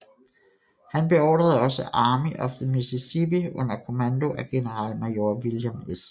Han beordrede også Army of the Mississippi under kommando af generalmajor William S